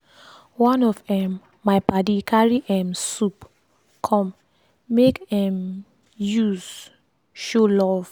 one of um my padi carry um soup come make um use show love.